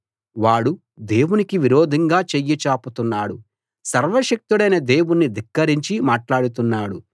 వాడు దేవునికి విరోధంగా చెయ్యి చాపుతున్నాడు సర్వశక్తుడైన దేవుణ్ణి ధిక్కరించి మాట్లాడుతున్నాడు